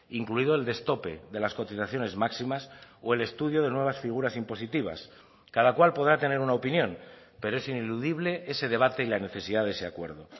incluido el destope de las cotizaciones máximas o el estudio de nuevas figuras impositivas cada cual podrá tener una opinión pero es ineludible ese debate y la necesidad de ese acuerdo